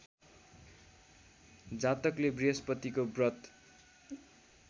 जातकले बृहस्पतिको व्रत